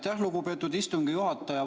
Aitäh, lugupeetud istungi juhataja!